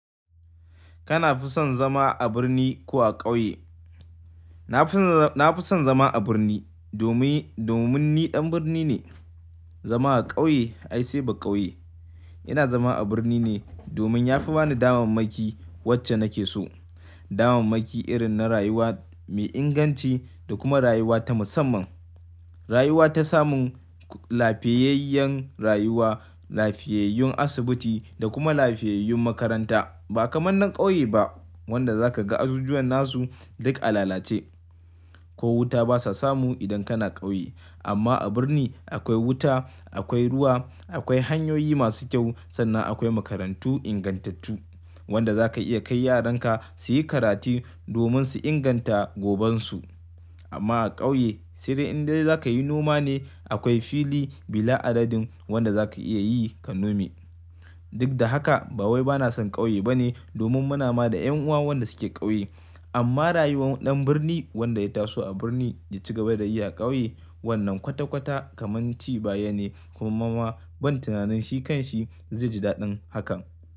Kana fi son zama a birni ko a ƙauye? Na fi son, na fi son zama a birni domin, domin ni ɗan birni ne. Zama a ƙauye ai sai ba ƙauye. Ina zama a birni ne domin ya fi bani damammaki wacce nake so. Damammaki irin na rayuwa mai inganci da kuma rayuwa ta musamman. Rayuwa ta samun lafiyayyan rayuwa, lafiyayyun asibiti da kuma lafiyayyun makaranta ba kaman na ƙauye ba wanda zaka ga azuzuwan nasu duk a lalace ko wuta basa samu idan kana ƙauye. Amma a birni akwai wuta, akwai ruwa, akwai hanyoyi masu kyau sannan akwai makarantu ingantattu wanda za ka iya kai yaranka su yi karatu domin su inganta gobensu. Amma a ƙauye sirrin dai zaka yi noma ne akwai fili bila adadin wanda za ka iya yi ka nome. Duk da haka ba wai bana son ƙauye bane domin muna ma da ƴan uwa wanda su ke ƙauye. Amma rayuwar ɗan birni wanda ya taso a birni ya ci gaba da yi a ƙauye wannan kwata-kwata kamar ci baya ne kuma ban tunanin shi kanshi zai ji daɗin hakan.